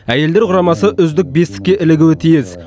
әйелдер құрамасы үздік бестікке ілігуі тиіс